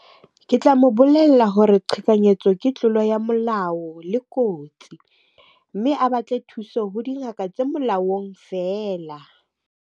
Ke tla mo bolella hore qhekanyetso ke tlolo ya molao le kotsi. Mme a batle thuso ho dingaka tse molaong feela.